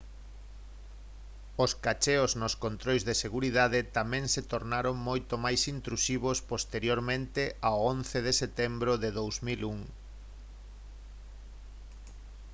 os cacheos nos controis de seguridade tamén se tornaron moito máis intrusivos posteriormente ao 11 de setembro de 2001